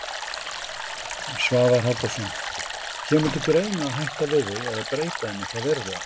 Svavar Halldórsson: Kemur til greina að hætta við þau eða breyta þeim eitthvað verulega?